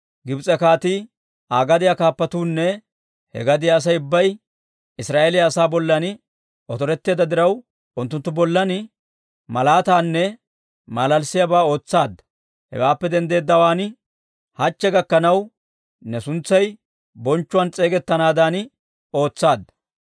Gibs'e kaatii, Aa gadiyaa kaappatuunne he gadiyaa Asay ubbay Israa'eeliyaa asaa bollan otoretteedda diraw, unttunttu bollan malaataanne malalissiyaabaa ootsaadda. Hewaappe denddeedawaan, hachche gakkanaw, ne suntsay bonchchuwaan s'eegettanaadan ootsaadda.